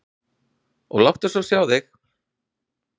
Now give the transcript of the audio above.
Og láttu svo sjá þig.